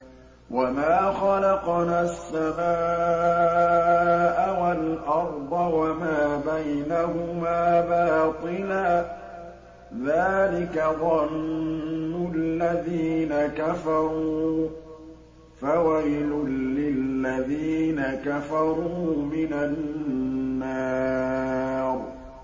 وَمَا خَلَقْنَا السَّمَاءَ وَالْأَرْضَ وَمَا بَيْنَهُمَا بَاطِلًا ۚ ذَٰلِكَ ظَنُّ الَّذِينَ كَفَرُوا ۚ فَوَيْلٌ لِّلَّذِينَ كَفَرُوا مِنَ النَّارِ